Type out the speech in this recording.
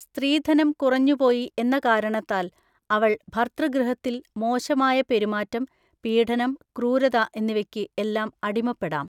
സ്ത്രീധനം കുറഞ്ഞുപോയി എന്ന കാരണത്താൽ അവൾ ഭർതൃഗൃഹത്തിൽ മോശമായ പെരുമാറ്റം, പീഢനം, ക്രൂരത എന്നിവക്ക് എല്ലാം അടിമപ്പെടാം.